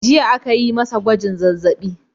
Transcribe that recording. Jiya aka yi masa gwajin zazzabi.